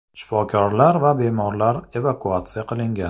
Shifokorlar va bemorlar evakuatsiya qilingan.